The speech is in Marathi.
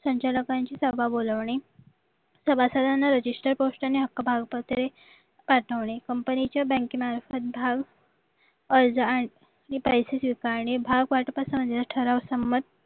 संचालकांची सभा बोलावणे सभासदांना रजिस्टर पोस्टाने हक्क भाव पत्रे पाठवणे कंपनीचे बँकेमार्फत भाव अर्ज आणि पैसे स्वीकारणे भाव वाटप ठराव संमंत